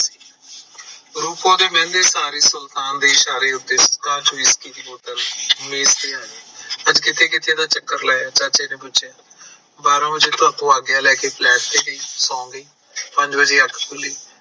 ਰੂਪੋ ਦੇ ਮਹਿੰਗੇ ਇਸ਼ਾਰੇ ਸੁਲਤਾਨ ਦੇ ਇਸ਼ਾਰੇ ਉੱਤੇ ਪਰ ਕਿਤੇ ਕਿਤੇ ਤਾਂ ਚੱਕਰ ਲੈ ਚਾਚੇ ਨੇ ਪੁੱਛਿਆ ਬਾਰਾ ਬਜੇ ਤੁਹਾਤੇ ਆਗਿਆ ਲੈ ਕੇ flat ਤੇ ਗਈ ਸੋਣ ਪੰਜ ਵਜੇ ਅੱਖ ਖੁੱਲੀ